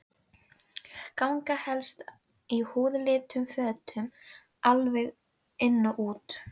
Ganga helst í húðlituðum fötum alveg inn úr.